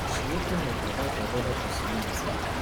she open up about her brother personality